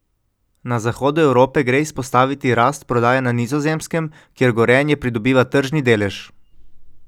Na zahodu Evrope gre izpostaviti rast prodaje na Nizozemskem, kjer Gorenje pridobiva tržni delež.